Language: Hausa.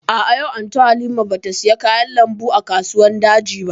A'a, yau Anty Halima ba ta saya kayan lambu a kasuwan daji ba